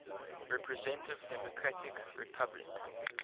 representative democratic republic